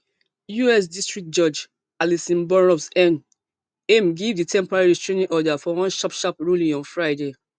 us district judge allison burroughs n aim give di temporary restraining order for one sharp sharp ruling on friday